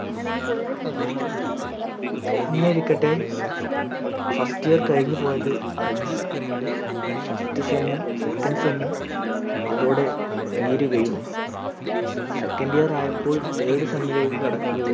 അങ്ങനെയിരിക്കട്ടെ first year കഴിഞ്ഞു പോയത് അറിഞ്ഞില്ല first sem ഉം second sem ഉം അതോടെ തീരുകയും second year ആയപ്പോൾ third sem ലേക് കടക്കുക